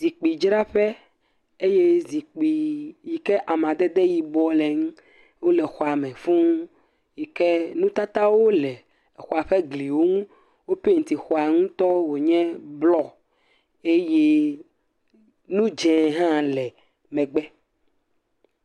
Zikpidzraƒe. Eye zikpii yi ke amadede yibɔ le eŋu wole xɔa me fũu yi ke nutatawo le xɔa ƒe gliwo ŋu. Wo peŋti xɔa ŋutɔ wònye blɔ. Eye nu dzẽ hã le megbe.